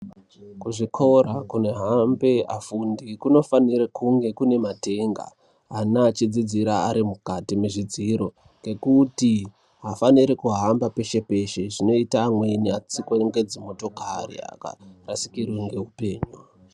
Kuzvikora kunohambe afundi kunofanire kunge Kune matenga ana achidzidzira Ari mukati memadziro ngekuti aafaniri kuhamba peshe peshe zvinoita amwni akatsikwa nedzimotokari akarasikirwa ngehupenyu